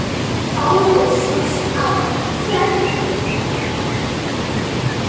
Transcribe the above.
Fáir sjást á ferli.